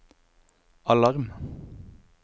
alarm